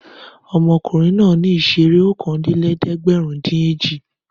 Ọmọkùnrin náà ní ìṣeré okòólélẹ́ẹ̀dẹ́gbẹ̀rúndínèjì.